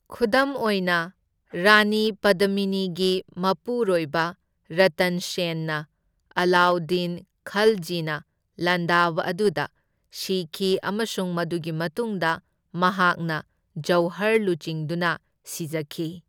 ꯈꯨꯗꯝ ꯑꯣꯏꯅ, ꯔꯥꯅꯤ ꯄꯗꯃꯤꯅꯤꯒꯤ ꯃꯄꯨꯔꯣꯏꯕ ꯔꯇꯟ ꯁꯦꯟꯅ ꯑꯂꯥꯎꯗꯗꯤꯟ ꯈꯜꯖꯤꯅ ꯂꯥꯟꯗꯥꯕ ꯑꯗꯨꯗ ꯁꯤꯈꯤ, ꯑꯃꯁꯨꯡ ꯃꯗꯨꯒꯤ ꯃꯇꯨꯡꯗ ꯃꯍꯥꯛꯅ ꯖꯧꯍꯔ ꯂꯨꯆꯤꯡꯗꯨꯅ ꯁꯤꯖꯈꯤ꯫